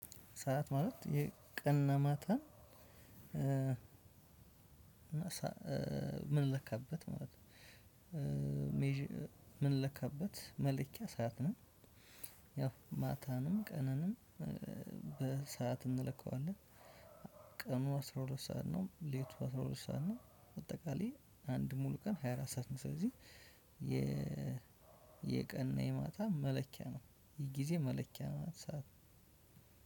ሰዓት ማለት የቀና ማታ? ምን ለካበት ማለት? ምን ለካበት መለኪያ ሰዓት ነው። ያው ማታንም ቀንንም በሰአት እንለካዋለን። ቀኑ አስራ ሁለት ሰዓት ነው ሌቱ አስራ ሁለት ሰዓት ነው። አጠቃላይ አንድ ሙሉ ቀን ሃያ አራት ሰዓት ነው። ስለዚህ የ የቀን እና የማታ መለኪያ ነው። የጊዜ መለኪያ ማለት ነው።